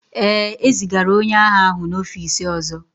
Ee, e zigara onye agha ahụ n'ọfịs ọzọ